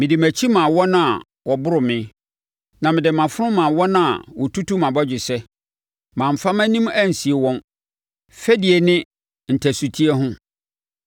Mede mʼakyi maa wɔn a wɔboro me, na mede mʼafono maa wɔn a wɔtutu mʼabɔgyesɛ. Mamfa mʼanim ansie wɔn fɛdie ne ntasuteɛ ho.